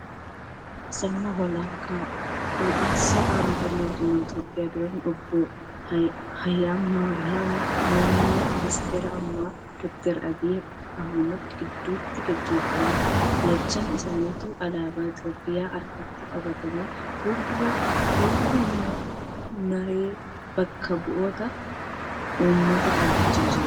Sirna wal harkaa fuudhinsa aangoo mootummaa Itiyoophiyaa duraanii Obbo Hayila Maariyaamiifi muumee ministara ammaa Dooktar Abiyyi Ahmad gidduutti geggeeffame. Lachan isaanituu alaabaa Itiyoophiyaa harkatti qabatanii fuuldura mana naree bakka bu'oota uummataa dhaabbachaa jiru.